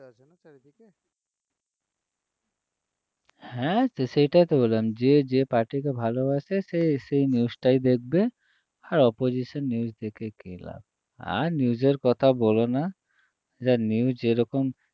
হ্যাঁ তো সেটাই তো বললাম যে যে party কে ভালোবাসে সে সেই news টাই দেখবে আর opposition news দেখে কী লাভ আর news এর কথা বলো না যা news এরকম